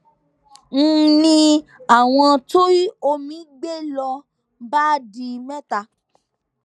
n ní àwọn tí omi gbé ló bá di mẹta